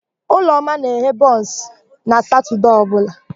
Ụlọma na-eghe bụns na Satọdee ọbụla.